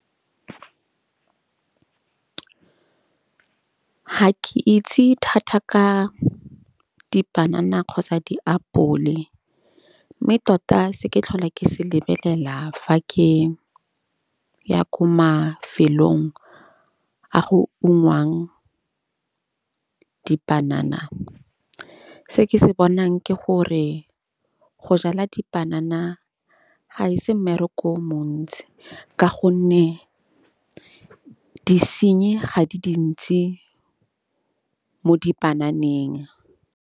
Go ungwang dipanana, se ke se bonang ke gore go jala dipanana ga e se mmereko o montsi. Ka gonne disenyi ga di dintsi mo dipananeng.